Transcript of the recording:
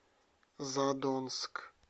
задонск